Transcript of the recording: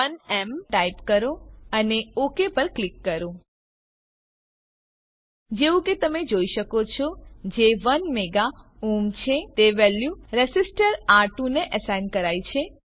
1એમ type કરો અને okay પર ક્લિક કરો જેવું કે તમે જોઈ શકો છો જે 1 મેગા ઓહ્મ છે તે વેલ્યુ રેસીસ્ટર આર2 ને એસાઈન કરાઈ છે